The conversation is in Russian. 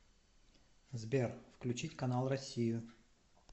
сбер включить канал россию